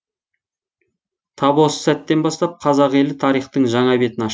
тап осы сәттен бастап қазақ елі тарихтың жаңа бетін аш